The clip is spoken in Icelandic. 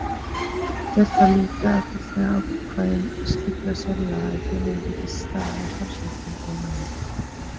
Ber þá líka að fullnægja ákvæðum slíkra sérlaga ef félögin hyggjast starfa á starfsvettvangi laganna.